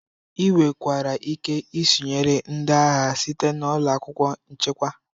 Ị nwekwara ike isonyere ndị agha site na ụlọ akwụkwọ nchekwa.